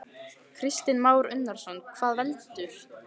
Kristján Már Unnarsson: Hvað veldur?